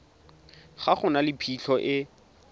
ga go na phitlho e